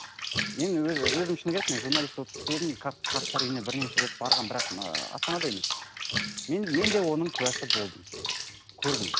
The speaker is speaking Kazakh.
мен өзім шыны керек мен журналист болып істедім қарттар үйіне бірнеше рет барғанмын бірақ ыыы астанада емес мен мен де оның куәсі болдым көрдім